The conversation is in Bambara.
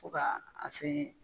Fo ka a se.